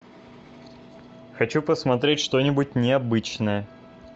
хочу посмотреть что нибудь необычное